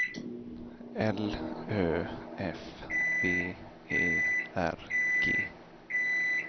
L Ö F B E R G